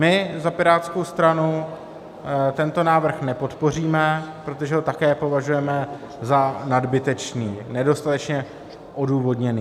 My za Pirátskou stranu tento návrh nepodpoříme, protože ho také považujeme za nadbytečný, nedostatečně odůvodněný.